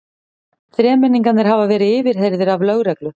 Þremenningarnir hafa verið yfirheyrðir af lögreglu